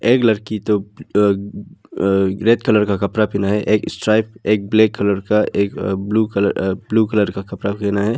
एक लड़की तो अं अं रेड कलर का कपड़ा पहना है एक स्ट्राइप एक ब्लैक कलर का एक ब्लू कलर अ ब्ल्यू कलर का कपड़ा पहना है।